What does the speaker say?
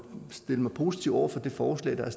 stille mig positiv over for det forslag der